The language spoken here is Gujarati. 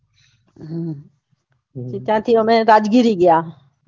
ત્યાંથી અમે રાજ્ગીરી ગયા